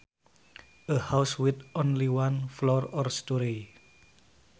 A house with only one floor or storey